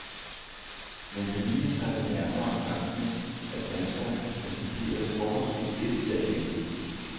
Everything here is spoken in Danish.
Men det viser sig ved nærmere granskning, at danskerne risikerede forholdsvis lidt ved at hjælpe.